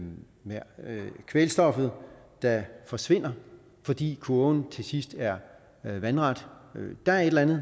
kvælstoffet der forsvinder fordi kurven til sidst er er vandret er der et eller andet